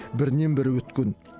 бірінен бірі өткен